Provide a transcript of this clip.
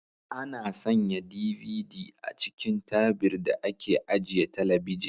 Ana sanya DVD a cikin tabir da ake ajiye talabijin.